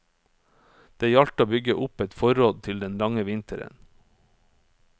Det gjaldt å bygge opp et forråd til den lange vinteren.